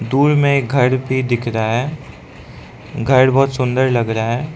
दूर में घर भी दिख रहा है घर बहुत सुंदर लग रहा है।